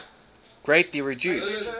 greatly reduced